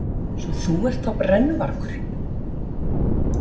Svo þú ert þá brennuvargurinn.